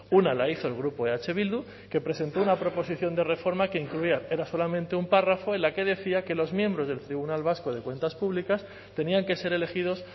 una la hizo el grupo eh bildu que presentó una proposición de reforma que incluía era solamente un párrafo en la que decía que los miembros del tribunal vasco de cuentas públicas tenían que ser elegidos